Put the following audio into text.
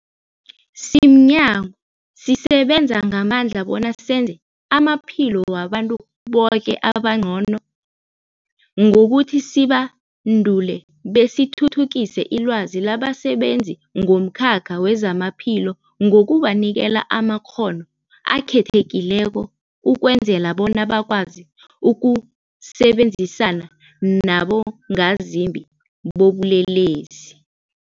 Simnyango, sisebenza ngamandla bona senze amaphilo wabantu boke abengcono ngokuthi sibandule besithuthukise ilwazi labasebenzi bomkhakha wezamaphilo ngokubanikela amakghono akhethekileko ukwenzela bona bakwazi ukusebenzisana nabongazimbi bobulelesi.